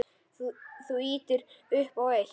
Þú ýtir upp á eitt.